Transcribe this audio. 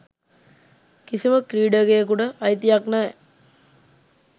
කිසිම ක්‍රීඩකයෙකුට අයිතියක් නෑ.